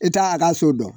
E t'a a ka so dɔn